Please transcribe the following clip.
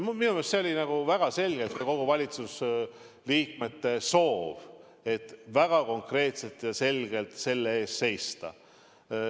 Minu meelest oli see väga selgelt kõigi valitsuse liikmete soov, et väga konkreetselt ja selgelt selle eest seista.